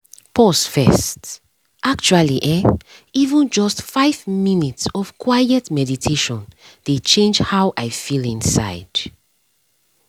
pause first — actually[um]even just five minutes of quiet meditation dey change how i feel inside